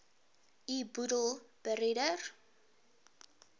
u boedel beredder